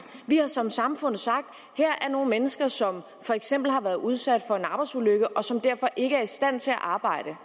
vi har som samfund sagt her er nogle mennesker som for eksempel har været udsat for en arbejdsulykke og som derfor ikke er i stand til at arbejde